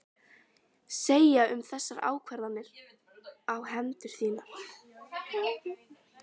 Segja um þessar ákvarðanir á hendur þínar?